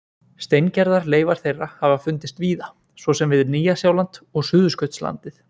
Steingerðar leifar þeirra hafa fundist víða, svo sem við Nýja-Sjáland og Suðurskautslandið.